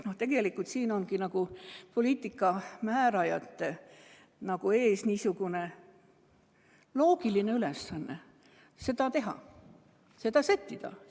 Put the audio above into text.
Siin ongi poliitika määrajate ees loogiline ülesanne seda teha, seda sättida.